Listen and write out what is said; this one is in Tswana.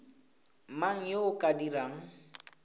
mang yo o ka dirang